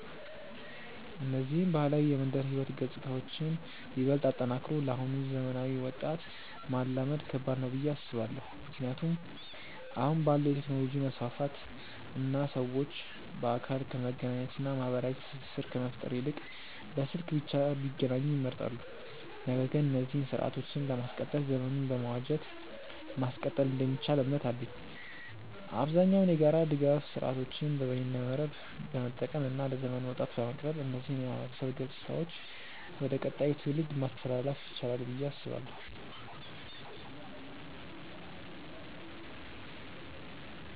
እነዚህን ባህላዊ የመንደር ህይወት ገጽታዎችን ይበልጥ አጠናክሮ ለአሁኑ ዘመናዊ ወጣት ማላመድ ከባድ ነው ብዬ አስባለው። ምክንያቱም አሁን ባለው የቴክኖሎጂ መስፋፋት እና ሰዎች በአካል ከመገናኘት እና ማህበራዊ ትስስር ከመፍጠር ይልቅ በስልክ ብቻ ቢገናኙ ይመርጣሉ። ነገር ግን እነዚህን ስርአቶችን ለማስቀጠል ዘመኑን በመዋጀት ማስቀጠል እንደሚቻል እምነት አለኝ። አብዛኛውን የጋራ ድጋፍ ስርአቶችን በይነመረብን በመጠቀም እና ለዘመኑ ወጣት በማቅረብ እነዚህን የማህበረሰብ ገጽታዎች ወደ ቀጣዩ ትውልድ ማስተላለፍ ይቻላል ብዬ አስባለው።